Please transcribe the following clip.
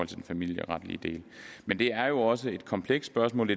den familieretlige del men det er jo også et komplekst spørgsmål